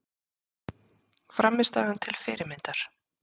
Frammistaðan til fyrirmyndar